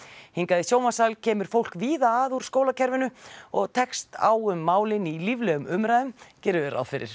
hingað í sjónvarpssal kemur fólk víða að úr skólakerfinu og tekst á um málin í líflegum umræðum gerum við ráð fyrir